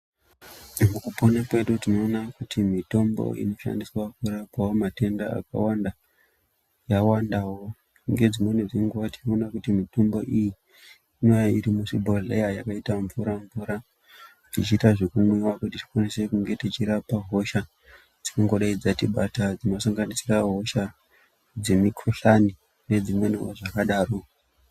Mukupona kwedu tinoona kuti mitombo inoshandiswa kurapawo matenda akawanda yawandawo. Ngedzimweni dzenguwa ti oone kuti mitombo iyi inouya iri muchibhohleya yakaite mvura mvura ichiita zvekumwiwa kuti tikwanise kunge tichirapa hosha dzingangodai dzatibata dzinosanganisire hosha dzemukhuhlani nezvimweniwo zvakadaro.